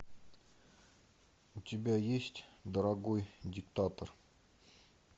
у тебя есть дорогой диктатор